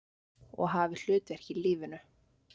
Og hafi hlutverk í lífinu.